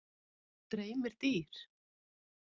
Dreymir dýr?